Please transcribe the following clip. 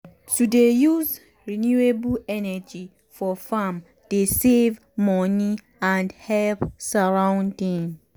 um to dey use renewable energy for farm dey save money and help surrounding.